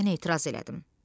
Mən etiraz elədim.